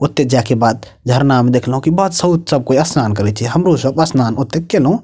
ओते जाय के बाद झरना में देखलो की सब स्नान करे छै हमरो सब स्नान ओते केलों।